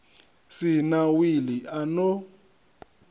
si na wili a no